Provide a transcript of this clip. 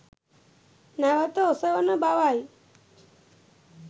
නැවත ඔසවන බවයි